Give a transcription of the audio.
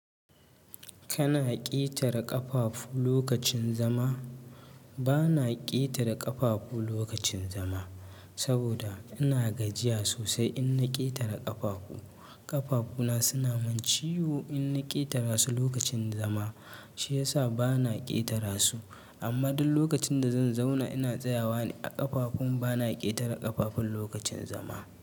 Kana ƙetare ƙafafu lokacin zama? Bana ƙetare ƙafafu lokacin zama, saboda ina gajiya sosai in na ƙetare ƙafafu. Ƙafafuna suna mun ciwo in na ƙetara su lokacin zama, shi ya sa bana ƙetara su. Amma duk lokacin da zan zauna ina tsayawa ne a ƙafafun, bana ƙetare ƙafafun lokacin zama.